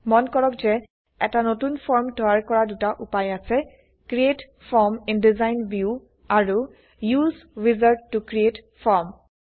মন কৰক যে এটা নতুন ফৰ্ম তৈয়াৰ কৰা দুটা উপায় আছে160 create form in design view আৰু উচে উইজাৰ্ড ত ক্ৰিএট ফৰ্ম